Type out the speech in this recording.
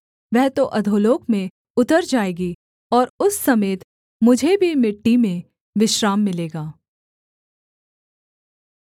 वह तो अधोलोक में उतर जाएगी और उस समेत मुझे भी मिट्टी में विश्राम मिलेगा